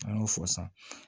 An y'o fɔ san